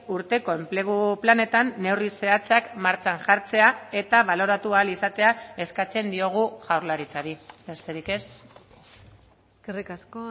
urteko enplegu planetan neurri zehatzak martxan jartzea eta baloratu ahal izatea eskatzen diogu jaurlaritzari besterik ez eskerrik asko